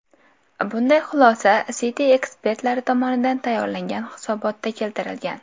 Bunday xulosa Citi ekspertlari tomonidan tayyorlangan hisobotda keltirilgan.